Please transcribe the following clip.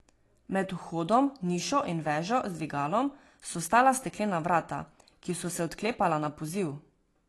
Med vhodno nišo in vežo z dvigalom so stala steklena vrata, ki so se odklepala na poziv.